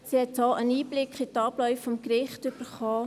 So hat sie einen Einblick in die Abläufe des Gerichts erhalten.